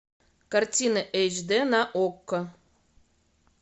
картина эйч д на окко